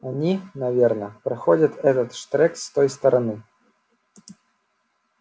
они наверно проходят этот штрек с той стороны